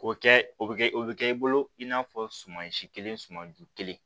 O kɛ o bɛ kɛ o bɛ kɛ i bolo i n'a fɔ suman si kelen suman ju kelen